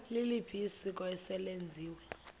liliphi isiko eselenziwe